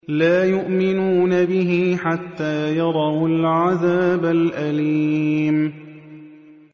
لَا يُؤْمِنُونَ بِهِ حَتَّىٰ يَرَوُا الْعَذَابَ الْأَلِيمَ